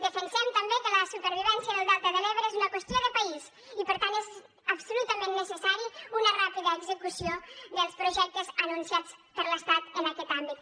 defensem també que la supervivència del delta de l’ebre és una qüestió de país i per tant és absolutament necessària una ràpida execució dels projectes anunciats per l’estat en aquest àmbit